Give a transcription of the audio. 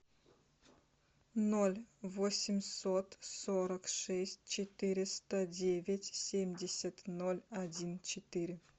ноль восемьсот сорок шесть четыреста девять семьдесят ноль один четыре